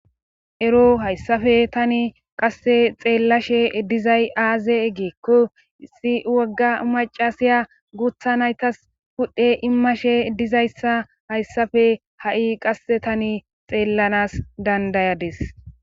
Ero hayssafe tani qasse xeellashe dizay aaze eggeekko issi wogga macasiya guutha naytas pudhdhe immashe dizayssa hayssafe ha'i qasse tani xeellanas dandayades.